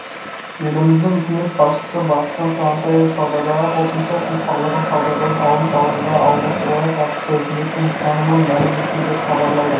еліміздің үкімет басшысыбақытжан сағынтаев саудадағы қосымша құн салығын саудадан алым салығына алмастыруға қатысты үкіметтің ұстанымын мәлім етті деп хабарлайды